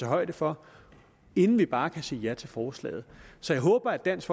højde for inden vi bare kan sige ja til forslaget så jeg håber at dansk